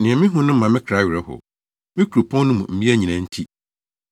Nea mihu no ma me kra werɛ how, me kuropɔn no mu mmea nyinaa nti.